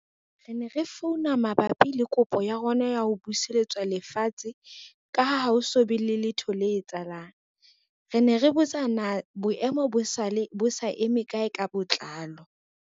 Re ne re founa mabapi le kopo ya rona ya ho buseletswa lefatshe, ka ha ho so be le letho le etsahalang, re ne re botsa na boemo bo sa eme kae ka botlalo.